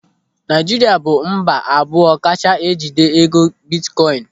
Naijiria bụ mba abụọ kacha jide ego bitkoin.